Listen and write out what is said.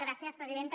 gràcies presidenta